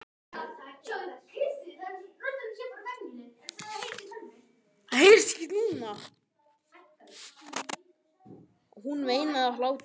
Hún veinaði af hlátri.